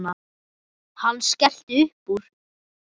Hann skellti upp úr.